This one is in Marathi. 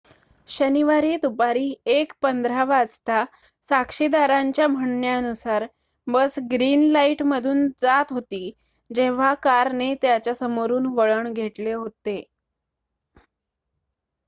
शनिवारी दुपारी 1:15 वाजता साक्षीदारांच्या म्हणण्यानुसार बस ग्रीन लाईटमधून जात होती जेव्हा कारने त्याच्या समोरून वळण घेतले होते